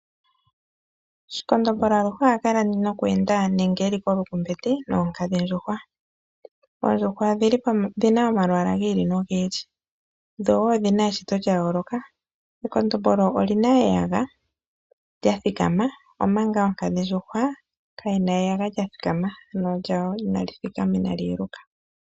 Shikondombolo aluhe ohakala noku enda nenge eli kolukumbeti oonkadhindjuhwa. Oondjuhwa odhina omalwaala gi ili nogi ili, dho woo odhina eshito lya yooloka. Ekondombolo olina eyaga lya thikama omanga oonkadhindjuhwa kayina eyaga kya thikama, ank lyayo inali thikama nenge inali yeluka.